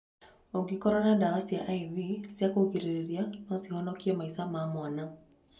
Ũngĩkoro nayo ndawa cia I.V cia kũrigĩrĩria no cihonokie maica ma mwana.